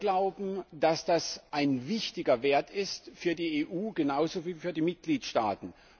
Wir glauben, dass das ein wichtiger Wert ist, für die EU genauso wie für die Mitgliedstaaten.